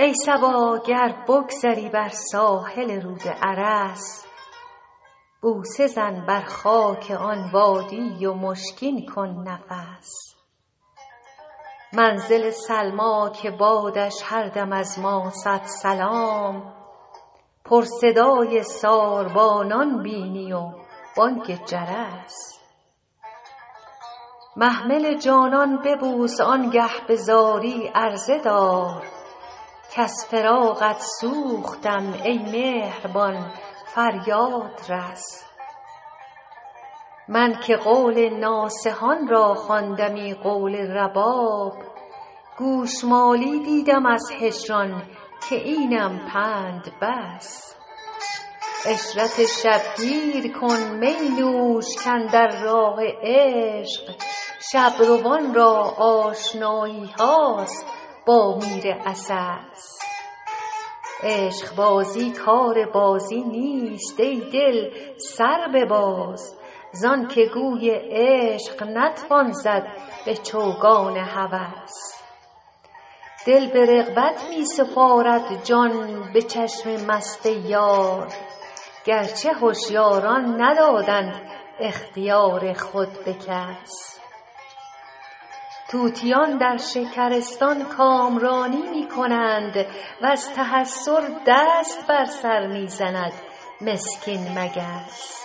ای صبا گر بگذری بر ساحل رود ارس بوسه زن بر خاک آن وادی و مشکین کن نفس منزل سلمی که بادش هر دم از ما صد سلام پر صدای ساربانان بینی و بانگ جرس محمل جانان ببوس آن گه به زاری عرضه دار کز فراقت سوختم ای مهربان فریاد رس من که قول ناصحان را خواندمی قول رباب گوش مالی دیدم از هجران که اینم پند بس عشرت شب گیر کن می نوش کاندر راه عشق شب روان را آشنایی هاست با میر عسس عشق بازی کار بازی نیست ای دل سر بباز زان که گوی عشق نتوان زد به چوگان هوس دل به رغبت می سپارد جان به چشم مست یار گر چه هشیاران ندادند اختیار خود به کس طوطیان در شکرستان کامرانی می کنند و از تحسر دست بر سر می زند مسکین مگس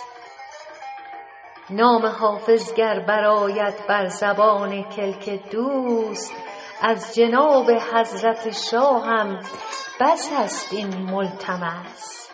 نام حافظ گر برآید بر زبان کلک دوست از جناب حضرت شاهم بس است این ملتمس